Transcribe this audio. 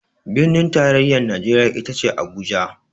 Birnin tarayya a Najeriya ita ce Abuja.